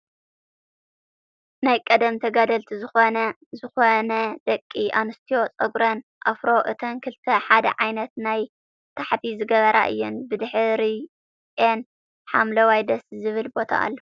ናይ ቀደም ተጋደልቲ ዝኮነ ደቂ ኣንስትዮ ፀጉረን ኣፍሮ እተን ክልተ ሓደ ዓይነት ናይ ታሕቲ ዝገበራ እየን። ብድሕርይኤን ሓምለዋይ ደስ ዝብል ቦታ ኣሎ።